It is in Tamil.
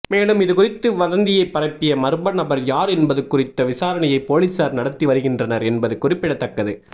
மேலும் இதுகுறித்து வதந்தியை பரப்பிய மர்ம நபர் யார் என்பது குறித்த விசாரணையை போலீசார் நடத்தி வருகின்றனர் என்பது குறிப்பிடத்தக்கது